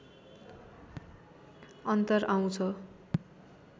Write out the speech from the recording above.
अन्तर आउँछ